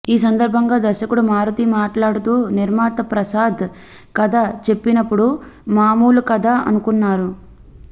ఈ సందర్భంగా దర్శకుడు మారుతి మాట్లాడుతూః నిర్మాత ప్రసాద్ కథ చెప్పినప్పుడు మాములు కథ అనుకున్నాను